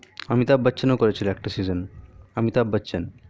অমিতাভ বচ্চনও করে ছিলএকটা season অমিতাভ বচ্চন